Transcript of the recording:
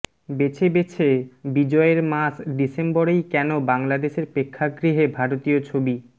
বেছে বেছে বিজয়ের মাস ডিসেম্বরেই কেনো বাংলাদেশের প্রেক্ষাগৃহে ভারতীয় ছবি